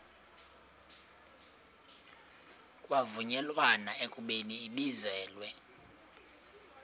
kwavunyelwana ekubeni ibizelwe